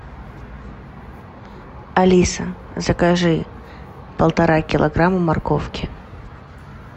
алиса закажи полтора килограмма морковки